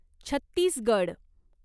Chhattisgarh